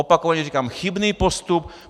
Opakovaně říkám - chybný postup.